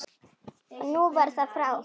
Og nú var það frá.